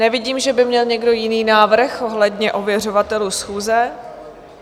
Nevidím, že by měl někdo jiný návrh ohledně ověřovatelů schůze.